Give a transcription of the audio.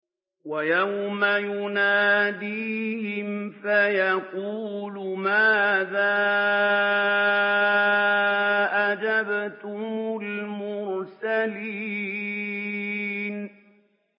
وَيَوْمَ يُنَادِيهِمْ فَيَقُولُ مَاذَا أَجَبْتُمُ الْمُرْسَلِينَ